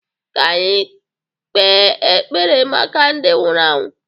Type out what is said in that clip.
ka anyị kpee ekpere maka ndị nwụrụ anwụ